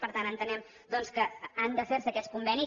per tant entenem doncs que han de fer se aquests convenis